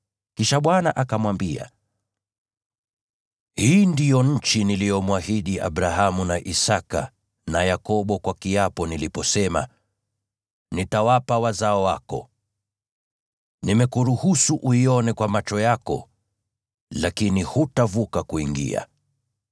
Kisha Bwana akamwambia, “Hii ndiyo nchi niliyomwahidi Abrahamu na Isaki na Yakobo kwa kiapo niliposema, ‘Nitawapa wazao wako.’ Nimekuruhusu uione kwa macho yako, lakini hutavuka kuingia.”